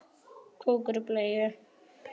Skarðið er hennar.